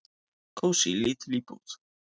"""Kósí, lítil íbúð."""